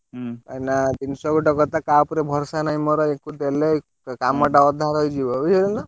କାଇଁ ନା ଜିନିଷ ଗୋଟେ କଥା କାହା ଉପରେଭରସା ନାହିଁ ମୋର ଏଇ କୁ ଦେଲେ ଗୋଟେ କାମ ତା ଅଧା ରହିଯିବ ବୁଝି ପାରୁଛ ନା।